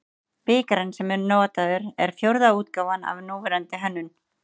Bikarinn sem nú er notaður er fjórða útgáfan af núverandi hönnun.